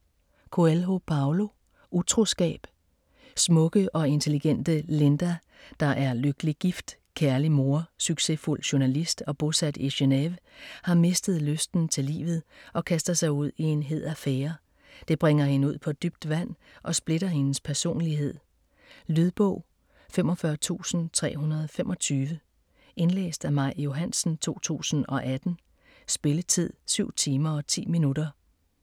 Coelho, Paulo: Utroskab Smukke og intelligente Linda, der er lykkelig gift, kærlig mor, succesfuld journalist og bosat i Genéve, har mistet lysten til livet og kaster sig ud i en hed affære. Det bringer hende ud på dybt vand og splitter hendes personlighed. Lydbog 45325 Indlæst af Maj Johansen, 2018. Spilletid: 7 timer, 10 minutter.